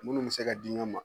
Munnu be se ka di ɲɔn ma